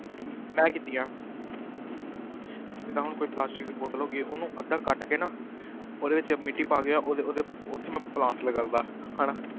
ਹਮ ਮੈਂ ਕੀਤੀ ਆ ਜਿੱਦਾਂ ਹੁਣ ਕੋਈ plastic ਦੀ ਬੋਤਲ ਹੋ ਗਈ ਉਹਨੂੰ ਅੱਧਾ ਕੱਟ ਕੇ ਨਾ ਉਹਦੇ ਵਿੱਚ ਮਿੱਟੀ ਪਾ ਕੇ ਉਹਦੇ ਉਹਦੇ ਉੱਥੇ ਮੈਂ plant ਲਗਾਏ ਦਾ ਹਨਾ,